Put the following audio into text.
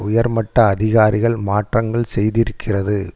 உயர்மட்ட அதிகாரிகள் மாற்றங்கள் செய்திருக்கிறது